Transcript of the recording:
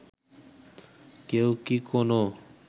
কেউ কি কোনো